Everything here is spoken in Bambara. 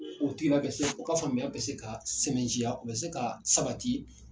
O tigila bɛ se o ka faamuya bɛ se ka sɛmɛnciya o bɛ se ka sabati.